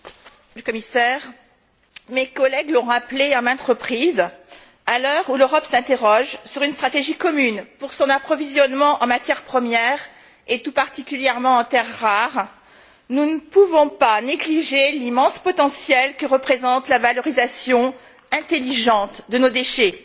Madame la Présidente, Monsieur le Commissaire, mes collègues l'ont rappelé à maintes reprises. À l'heure où l'Europe s'interroge sur une stratégie commune pour son approvisionnement en matières premières et tout particulièrement en terres rares, nous ne pouvons pas négliger l'immense potentiel que représente la valorisation intelligente de nos déchets.